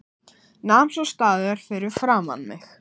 Nam svo staðar fyrir framan mig.